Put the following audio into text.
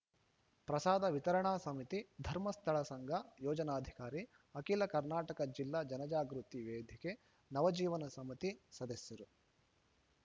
ಪ್ರಸಾದ ವಿತರಣಾ ಸಮಿತಿ ಧರ್ಮಸ್ಥಳ ಸಂಘ ಯೋಜನಾಧಿಕಾರಿ ಅಖಿಲ ಕರ್ನಾಟಕ ಜಿಲ್ಲಾ ಜನಜಾಗೃತಿ ವೇದಿಕೆ ನವಜೀವನ ಸಮಿತಿ ಸದಸ್ಯರು